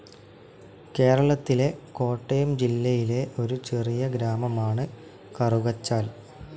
കേരളത്തിലെ കോട്ടയം ജില്ലയിലെ ഒരു ചെറിയ ഗ്രാമമാണ് കറുകച്ചാൽ.